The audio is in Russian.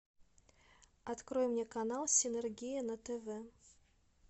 открой мне канал синергия на тв